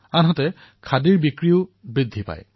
দ্বিতীয়তে খাদীৰো বিক্ৰী বৃদ্ধি হৈছিল